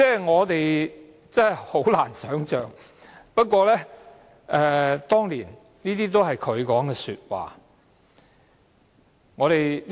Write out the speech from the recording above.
我們真的難以想象，不過，這些都是她當年的言論。